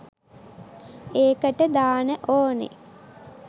ඒකට දාන ඕනේ